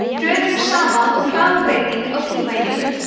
hröðun er sama og hraðabreyting á tímaeiningu